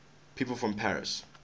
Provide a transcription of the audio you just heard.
people from paris